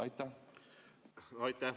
Aitäh!